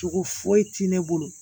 Cogo foyi tɛ ne bolo